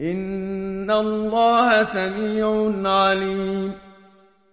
إِنَّ اللَّهَ سَمِيعٌ عَلِيمٌ